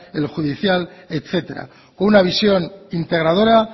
el judicial etcétera una visión integradora